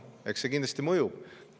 Eks see kindlasti mõjub.